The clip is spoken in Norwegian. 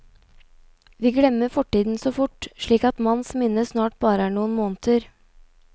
Vi glemmer fortiden så fort, slik at manns minne snart bare er noen måneder.